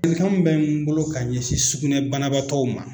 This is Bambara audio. Ladilikan min bɛ n bolo ka ɲɛsin sugunɛ banabaatɔw ma